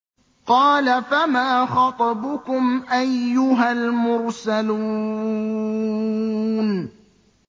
قَالَ فَمَا خَطْبُكُمْ أَيُّهَا الْمُرْسَلُونَ